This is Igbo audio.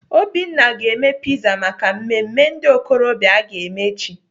Obinna ga-eme piza maka mmemme ndị okorobịa aga eme echi.